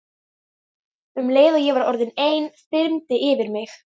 Um leið og ég var orðin ein þyrmdi yfir mig.